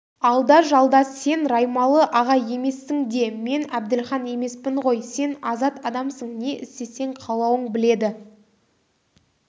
алда-жалда сен раймалы-аға емессің де мен әбділхан емеспін ғой сен азат адамсың не істесең қалауың біледі